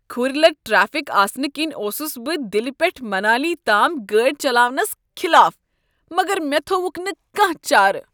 کھُرۍ لد ٹریفک آسنہٕ کنۍ اوسس بہٕ دلہ پیٹھ منالی تام گٲڑۍ چلاونس خلاف، مگر مےٚ تھووکھ نہٕ کانہہ چارہ۔